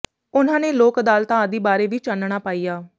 ਉਨ੍ਹਾਂ ਨੇ ਲੋਕ ਅਦਾਲਤਾਂ ਆਦਿ ਬਾਰੇ ਵੀ ਚਾਨਣਾ ਪਾਇਆ